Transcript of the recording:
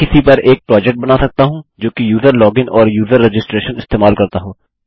मैं किसी पर एक प्रोजेक्ट बना सकता हूँ जो कि यूज़र लॉगिन और यूज़र रजिस्ट्रेशन इस्तेमाल करता हो